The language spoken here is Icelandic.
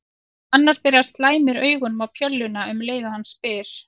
Annar þeirra slæmir augunum á bjölluna um leið og hann spyr